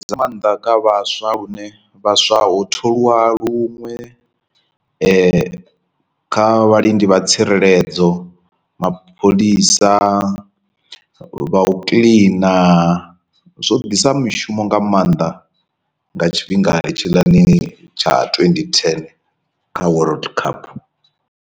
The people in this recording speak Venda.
Ndi nga maanḓa kha vhaswa lune vhaswa ho tholiwa luṅwe kha vhalindi vha tsireledzo, mapholisa, vha u kiḽina zwo ḓisa mishumo nga maanḓa nga tshifhingani tshilani tsha twenty ten kha world cup.